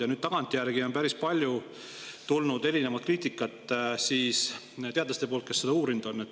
Ja nüüd tagantjärgi on päris palju tulnud kriitikat teadlastelt, kes on seda uurinud.